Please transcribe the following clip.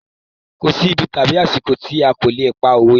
Kò sí ibi tàbí àsìkò tí a kò lè pa òwe.